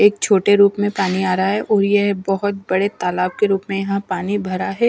एक छोटे रूप में पानी आ रहा है और यह बहुत बड़े तालाब के रूप में यहां पानी भरा है।